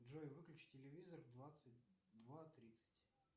джой выключи телевизор в двадцать два тридцать